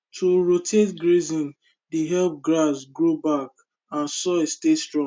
to rotate grazing dey help grass grow back and soil stay strong